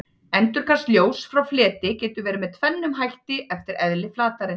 endurkast ljóss frá fleti getur verið með tvennum hætti eftir eðli flatarins